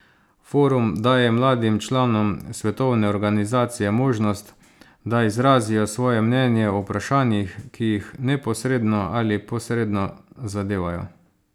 Forum daje mladim članom svetovne organizacije možnost, da izrazijo svoje mnenje o vprašanjih, ki jih neposredno ali posredno zadevajo.